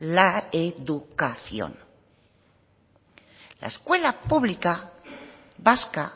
la educación la escuela pública vasca